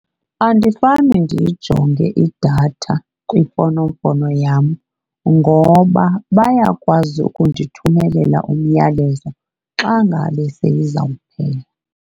Andifane ndiyijonge idatha kwimfonomfono yam ngoba bayakwazi ukundithumelela umyalezo xa ngabe seyizawuphela.